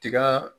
Tiga